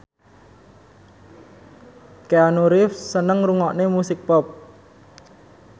Keanu Reeves seneng ngrungokne musik pop